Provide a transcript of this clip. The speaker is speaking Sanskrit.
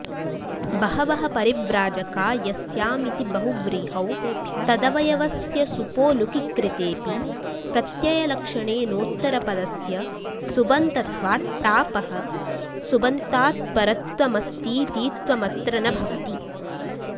बहवः परिव्राजका यस्यामिति बहुव्रीहौ तदवयवस्य सुपो लुकि कृतेऽपि प्रत्ययलक्षणेनोत्तरपदस्य सुबन्तत्वाट्टापः सुबन्तात्परत्वमस्तीतीत्वमत्र न भवति